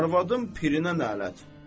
Arvadın pirinə lənət.